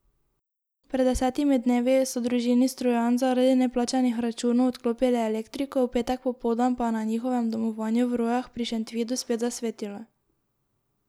Pred desetimi dnevi so družini Strojan zaradi neplačanih računov odklopili elektriko, v petek popoldan pa je na njihovem domovanju v Rojah pri Šentvidu spet zasvetilo.